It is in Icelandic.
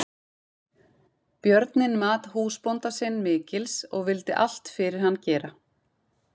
Björninn mat húsbónda sinn mikils og vildi allt fyrir hann gera.